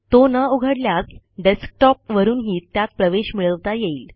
तो न उघडल्यास डेस्कटॉपवरूनही त्यात प्रवेश मिळवता येईल